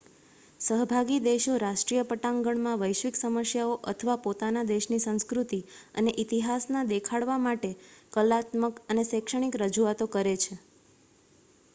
સહભાગી દેશો રાષ્ટ્રીય પટાંગણમાં વૈશ્વિક સમસ્યાઓ અથવા પોતાનાં દેશની સંસ્કૃતિ અને ઇતિહાસના દેખાડવા માટે કલાત્મક અને શૈક્ષણિક રજૂઆતો કરે છે